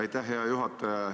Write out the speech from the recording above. Aitäh, hea juhataja!